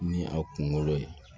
Ni a kunkolo ye